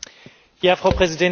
Frau Präsidentin!